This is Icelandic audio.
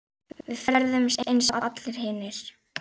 Við ferðumst eins og allir hinir.